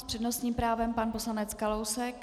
S přednostním právem pan poslanec Kalousek.